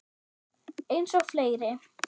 Eins og fleiri.